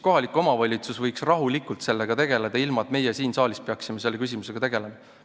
Kohalik omavalitsus võiks sellega rahulikult tegeleda, ilma et meie siin saalis peaksime selle küsimusega tegelema.